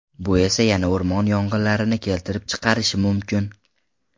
Bu esa yana o‘rmon yong‘inlarini keltirib chiqarishi mumkin.